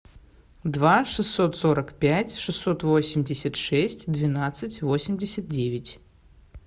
два шестьсот сорок пять шестьсот восемьдесят шесть двенадцать восемьдесят девять